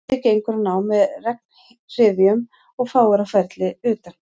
Úti gengur hann á með regnhryðjum og fáir á ferli utan